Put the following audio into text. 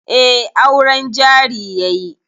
Eh, auren jari yayi